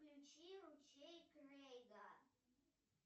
включи ручей крэйга